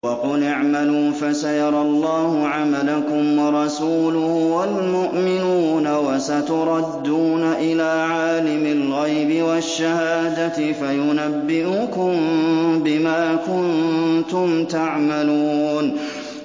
وَقُلِ اعْمَلُوا فَسَيَرَى اللَّهُ عَمَلَكُمْ وَرَسُولُهُ وَالْمُؤْمِنُونَ ۖ وَسَتُرَدُّونَ إِلَىٰ عَالِمِ الْغَيْبِ وَالشَّهَادَةِ فَيُنَبِّئُكُم بِمَا كُنتُمْ تَعْمَلُونَ